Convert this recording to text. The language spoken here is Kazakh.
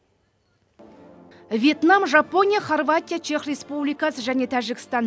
вьетнам жапония хорватия чех республикасы және тәжікстан